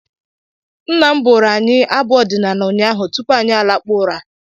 Nna m bụrụ anyị abụ ọdịnaala ụnyaahụ tupu anyị lakpuo ụra